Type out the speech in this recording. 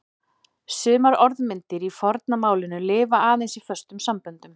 Sumar orðmyndir í forna málinu lifa aðeins í föstum samböndum.